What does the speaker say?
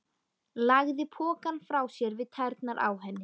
Lagði pokann frá sér við tærnar á henni.